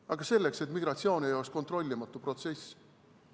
Aga selleks, et migratsioon ei oleks kontrollimatu protsess.